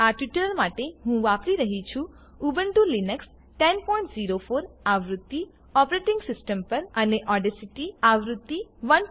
આ ટ્યુટોરીયલ માટે હું વાપરી રહ્યી છું ઉબુન્ટુ લીનક્સ 1004 આવૃત્તિ ઓપરેટીંગ સીસ્ટમ અને ઓડેસીટી આવૃત્તિ 13